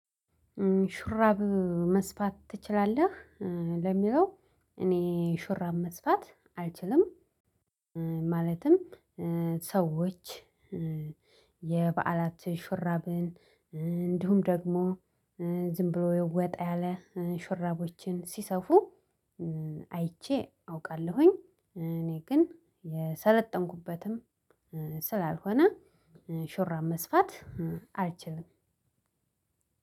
ሹራብ መስፋት ትችላለህ? ለሚለው እኔ ሹራብ መስፋት አልችልም። ማለትም ሰዎች የበዓላት ሹራብን እንዲሁም ደግሞ ዝም ብሎ ወጣ ያለ ሹራቦችን ሲሰፉ። አይቼ አውቃለሁኝ። እኔ ግን የሰለጠንኩበትም ስላልሆነ ሹራብ መስፋት አልችልም።